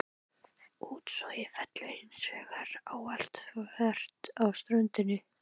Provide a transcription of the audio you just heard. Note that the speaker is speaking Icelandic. Útsogið fellur hins vegar ávallt þvert af ströndinni.